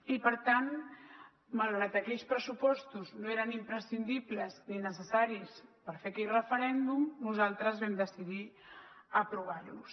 i per tant malgrat aquells pressupostos no eren imprescindibles ni necessaris per fer aquell referèndum nosaltres vam decidir aprovar los